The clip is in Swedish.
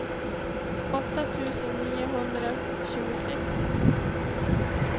åtta tusen niohundratjugosex